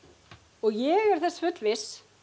og ég er þess fullviss